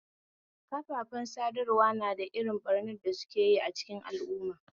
Kafafen sadarwa na da irin ɓarnar da sukeyi a cikin al'umma